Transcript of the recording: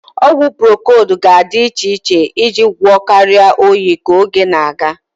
Ọgwụ procold ga-adị iche iche iji gwọọ karịa oyi ka oge na-aga.